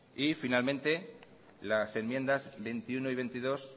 y finalmente las enmiendas veintiuno y veintidós